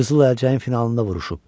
Qızıl əlcəyin finalında vuruşub.